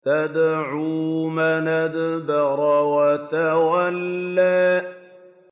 تَدْعُو مَنْ أَدْبَرَ وَتَوَلَّىٰ